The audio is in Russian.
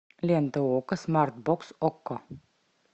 лента окко смарт бокс окко